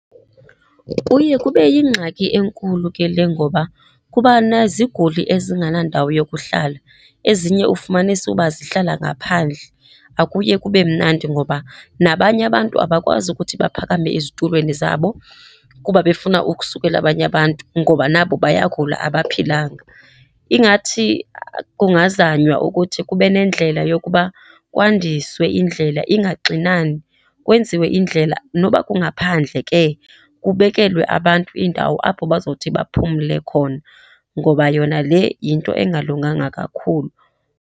Kuye kube yingxaki enkulu ke le ngoba kuba neziguli ezingenandawo yokuhlala. Ezinye ufumanise ukuba zihlala ngaphandle, akuye kube mnandi ngoba nabanye abantu abakwazi ukuthi baphakame ezitulweni zabo kuba befuna ukusukela abanye abantu ngoba nabo bayagula, abaphilanga. Ingathi kungazanywa ukuthi kube nendlela yokuba kwandiswe indlela ingaxinani. Kwenziwe indlela noba kungaphandle ke, kubekelwe abantu indawo apho bazothi baphumle khona ngoba yona le yinto engalunganga kakhulu.